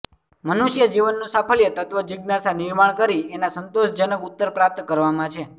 મનુષ્ય જીવનનું સાફલ્ય તત્ત્વજિજ્ઞાસા નિર્માણ કરી એના સંતોષજનક ઉત્તર પ્રાપ્ત કરવામાં છે